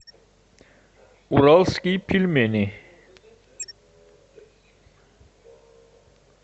уральские пельмени